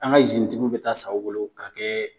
An ka izinitigiw bɛ taa san o bolo ka kɛ